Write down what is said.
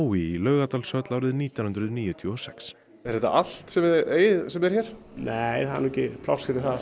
í Laugardalshöll árið nítján hundruð níutíu og sex er þetta allt sem þið eigið sem er hér nei það er nú ekki pláss fyrir það